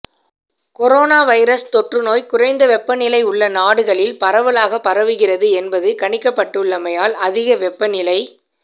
corona virus தொற்றுநோய் குறைந்த வெப்பநிலை உள்ள நாடுகளில் பரவலாக பரவுகிறது என்பது கணிக்கப்பட்டுள்ளமையால் அதிக வெப்பநிலை